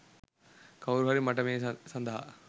කවුරුහරි මට මේ සඳහා